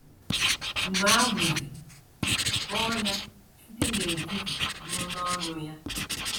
Mgbe ahụzi, bọọ ya site n’etiti ruo n’ọnụ ya.